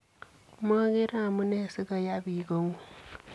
Mogeree amunee sigoyaa biik koonguug'.